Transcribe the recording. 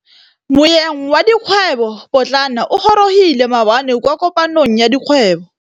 Moêng wa dikgwêbô pôtlana o gorogile maabane kwa kopanong ya dikgwêbô.